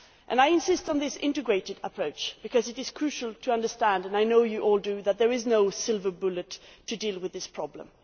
I insist on this integrated approach because it is crucial to understand and I know you all do that there is no silver bullet to deal with this problem.